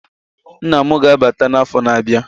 Nna mụ ga-abata na afọ na abịa